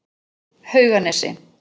Hauganesi